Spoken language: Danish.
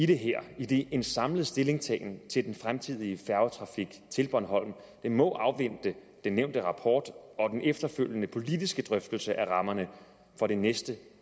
det her idet en samlet stillingtagen til den fremtidige færgetrafik til bornholm må afvente den nævnte rapport og den efterfølgende politiske drøftelse af rammerne for det næste